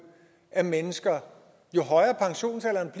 af mennesker jo højere pensionsalderen